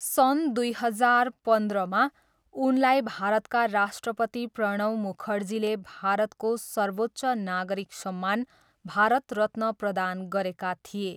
सन् दुई हजार पन्ध्रमा, उनलाई भारतका राष्ट्रपति प्रणव मुखर्जीले भारतको सर्वोच्च नागरिक सम्मान भारत रत्न प्रदान गरेका थिए।